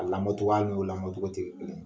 O la